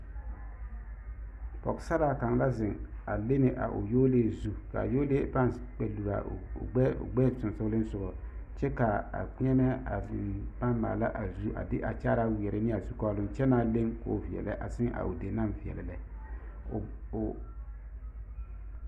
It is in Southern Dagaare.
Pɔɡesaraa kaŋ la zeŋ a lene a o yɔɔlee zu ka a yɔɔlee paŋ kpɛluri a o ɡbɛɛ sonsooleŋsoɡa kyɛ ka a kpeɛmɛ a zeŋ a paŋ maala a zu a de a kyaaraa weɛrɛ ne a zukɔɔloŋ kyɛ naa leŋ ka o veɛlɛ a seŋ a o deni naŋ veɛlɛ a lɛ.